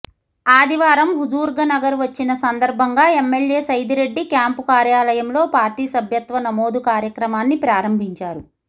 ఆదివారం హుజూర్గనర్ వచ్చిన సందర్భంగా ఎమ్మెల్యే సైదిరెడ్డి క్యాంపు కార్యాలయంలో పార్టీ సభ్యత్వ నమోదు కార్యక్రమాన్ని ప్రారంభించారు